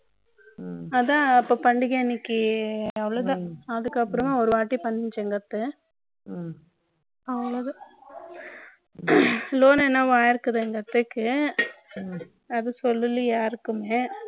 அதான் அப்போ பண்டிகை அன்னைக்கு அவ்வளவுதான் அதுக்கப்புறம் ஒரு வாரம் ஒருவாட்டி பண்ணிடுச்சு எங்க அத்தை அவ்வளவுதான் loan என்னமோ ஆயிருக்கு எங்க அத்தைக்கு அது சொல்லல யாருக்குமே